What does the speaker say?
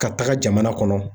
Ka taga jamana kɔnɔ